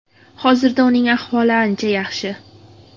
Hozirda uning ahvoli ancha yaxshi.